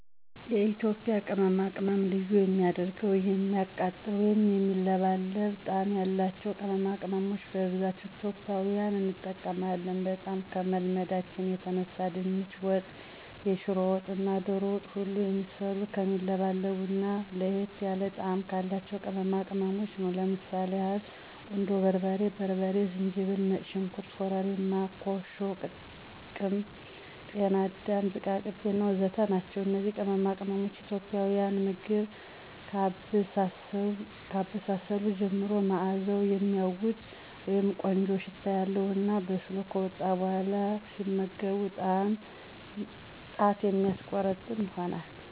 የኢትዬጵያ ቅመማቅመም ልዩ የሚያደርገዉ የሚያቃጥል ወይም የሚለበልብ ጣም ያላቸዉ ቅመማቅመሞች በብዛት ኢትዬጵያዊን እንጠቀማለን። በጣም ከመልመዳችን የተነሳ ድንች ወጥ፣ የሽሮ ወጥ እና ዶሮ ወጥ ሁሉ የሚሰሩት ከሚለበልቡ እና ለየት ያለ ጣም ካላቸው ቅመማቅመሞች ነው። ለምሳሌ ያህል ቁንዶ በርበሬ፣ በርበሬ፣ ዝንጅብል፣ ነጭ ሽንኩርት፣ ኮርሪማ፣ ኮሾ ቅም፣ ጤና አዳም ዝቃቅቤ እና ወዘተ ናቸው። እነዚህ ቅመማቅሞች የኢትዬጵያን ምግብ ከአበሳሰሉ ጀምሮ ማእዛዉ የሚያዉድ (ቆንጆ ሽታ) ያለዉ እና በስሎ ከወጣ በኋላ ሲመገቡት ጣት የሚያስቆረጥም ይሆናል።